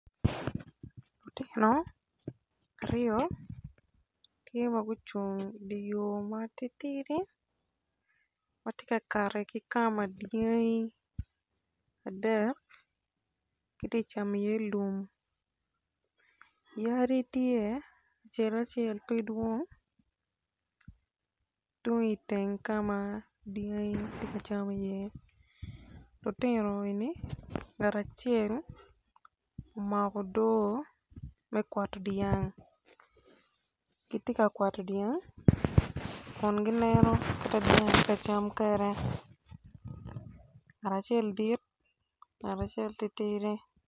Lutino aryo tye ma gucung i di yo ma titidi ma ti ka kati ki kama dyangi adek giti cami iye lum yadi tye acel acel pi dwoong tung iteng ka ma dyangi ti ka cam iye lutino eni ngat acel omako odoo me kawato dyang ki ti ka kwato dyang kun gineno kit ma dyangi ti kacam kede ngat acel dit ngat acel titidi